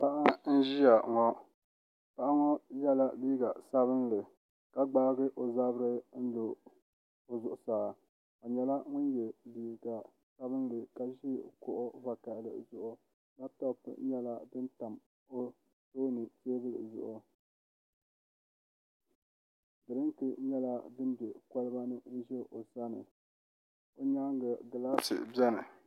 Paɣa n ʒiya ŋo paɣa ŋo yɛla liiga sabinli ka gbaagi o zabiri lo zuɣusaa o nyɛla ŋun yɛ liiga sabinli ka ʒi kuɣu vakaɣali zuɣu labtop nyɛla din tam o tooni teebuli zuɣu diriinki nyɛla din bɛ koliba ni n ʒɛ o sani o nyaanga gilaasi biɛni